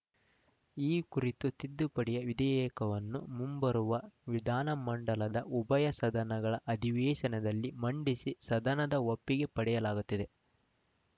ಈ ಕುರಿತ ತಿದ್ದುಪಡಿಯ ವಿಧೇಯಕವನ್ನು ಮುಂಬರುವ ವಿಧಾನಮಂಡಲದ ಉಭಯ ಸದನಗಳ ಅಧಿವೇಶನದಲ್ಲಿ ಮಂಡಿಸಿ ಸದನದ ಒಪ್ಪಿಗೆ ಪಡೆಯಲಾಗುತ್ತದೆ